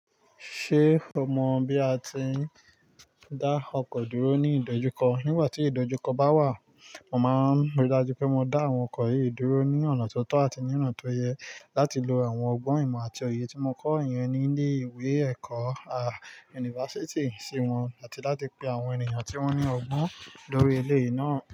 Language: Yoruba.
Ṣé o mọ bí a ti ń dá ọkọ̀ dúró ní ìdojúkọ? Nígbà tí ìdojúkọ bá wà, mo máa n rí i dájú pé mo dá àwọn ọkọ̀ yìí dúró ní ọ̀nà tó tọ́ àti níran tó yẹ láti lo àwọn ọgbọ́n ìmọ̀ àti òye tí mo kọ́ iyen ní ilé ìwé ẹ̀kọ́ a Yunifásítì sí wọn àti láti pe àwọn ènìyàn tí wọ́n ní ọgbọ́n lórí eleyi ìná.